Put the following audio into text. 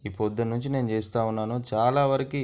ఈ పొద్దున నుంచి నేను చేస్తా ఉన్నాను చాలా వరికి --